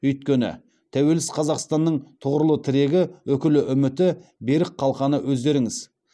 өйткені тәуелсіз қазақстанның тұғырлы тірегі үкілі үміті берік қалқаны өздеріңіз